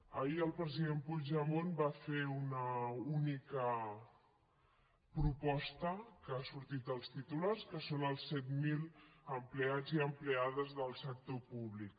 ahir el president puigdemont va fer una única proposta que ha sortit als titulars que són els set mil empleats i empleades del sector públic